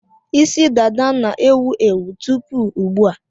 Isi dada na-ewu ewu tupu ugbu a.